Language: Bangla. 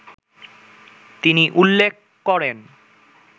তিনি উল্লেখ করেন